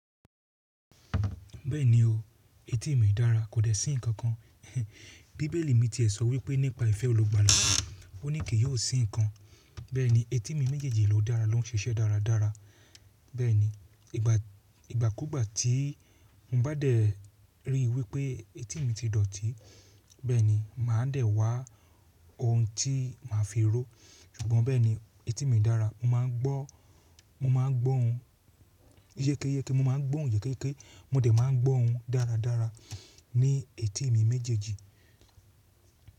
Bẹ́ẹ̀ni o, etí mi dára kò dẹ́ sí ǹkan kan. Bíbélì mi ti è sọ wípé nípa ìfẹ́ olùgbàla, ó ní kì yóò sí ǹkan. Bẹ́ẹ̀ni etí mi méjèèjì ló dára ló ń ṣiṣẹ́ dáradára. Bẹ́ẹ̀ni ìgbàkúgbà tí mo bá dẹ̀ ríi wípé etí mi ti dọ̀tí, bẹ́ẹ̀ni màá dẹ̀ wá oun tí màá fi ró. Ṣùgbọ́n bẹ́ẹ̀ni etí mi dára. Mo má a ń gbọ́, mo má a ń gbọ́ oun yékéyéke, mo má a ń gbọ́ oun yékéyéké. Mo dẹ̀ má a ń gbọ́ oun dáradára ní etí mi méjèèjì.